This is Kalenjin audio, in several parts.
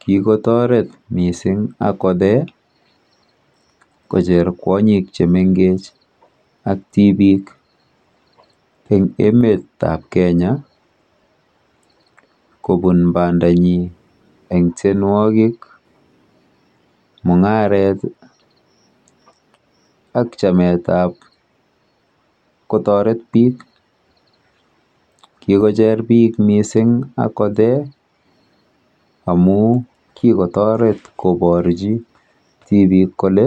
Kikotoret mising Akothee kocher kwonyik chemengech ak tibik eng emetap Kenya kobun bandanyi eng tienwokik, mung'aret ak chametap kotoret biik. Kikocher biik mising Akothee amu kikotoret koborchi tibik kole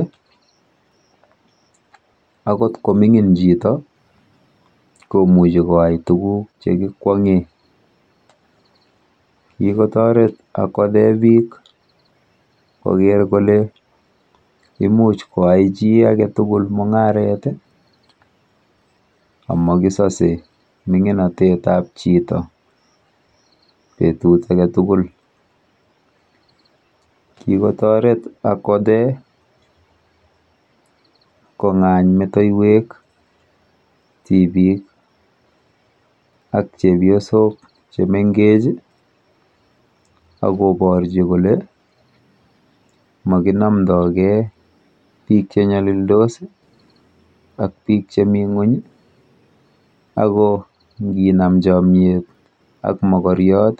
akot komining chito komuchi kwai tuguk chekikwong'e. Kikotoret Akothee biik koker kole imuch koai chi aketugul mung'aret amakisose ming'inotetap chito betut aketugul. Kikotoret Akothee kong'any metoiwek tibik ak chepyosok chemengech akoporchi kole makinomdogei biik chenyolildos, ak biik chemi ng'ung ako nginam chomyet ak mokoriot...